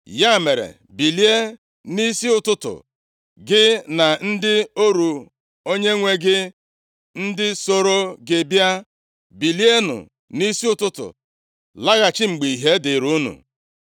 Ya mere, bilie nʼisi ụtụtụ, gị na ndị ọrụ onyenwe gị ndị soro gị bịa, bilienụ nʼisi ụtụtụ laghachi mgbe ìhè dịrị unu.”